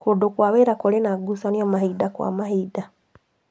Kũndũ kwa wĩra kũrĩ na ngucanio mahinda kwa mahinda